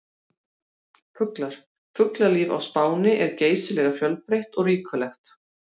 Fuglar: Fuglalíf á Spáni er geysilega fjölbreytt og ríkulegt.